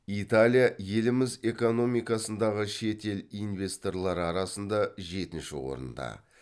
италия еліміз экономикасындағы шет ел инвесторлары арасында жетінші орында